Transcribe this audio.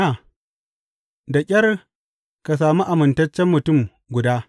Da ƙyar ka sami amintacce mutum guda.